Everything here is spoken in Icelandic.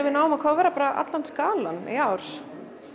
við náum að kóvera allan skalann í ár